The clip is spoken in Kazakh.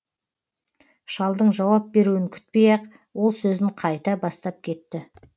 шалдың жауап беруін күтпей ақ ол сөзін қайта бастап кетті